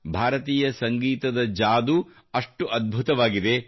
ಭಾರತೀಯ ಸಂಗೀತದ ಜಾದೂ ಅಷ್ಟು ಅದ್ಭುತವಾಗಿದೆ